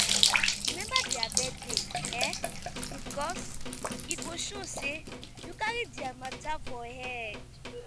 remember dia birthday um bikos e go show sey yu cari dia mata for head